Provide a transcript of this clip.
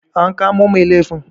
an kamo Mai liafin?